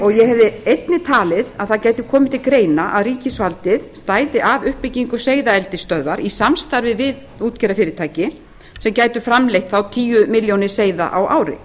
og ég hefði einnig talið að það gæti komið til greina að ríkisvaldið stæði að uppbyggingu seiðaeldisstöðvar í samstarfi við útgerðarfyrirtæki sem gætu framleitt þá tíu milljónir seiða á ári